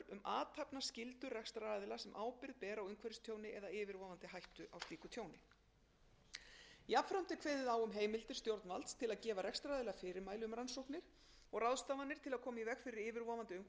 athafnaskyldu rekstraraðila sem ábyrgð ber á umhverfistjóni eða yfirvofandi hættu á slíku tjóni jafnframt er kveðið á um heimildir stjórnvalds til að gefa rekstraraðila fyrirmæli um rannsóknir og ráðstafanir til að koma í veg fyrir yfirvofandi umhverfistjón eða til að bæta úr